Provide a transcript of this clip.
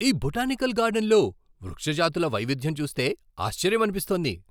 ఈ బొటానికల్ గార్డెన్లో వృక్ష జాతుల వైవిధ్యం చూస్తే ఆశ్చర్యమనిపిస్తోంది!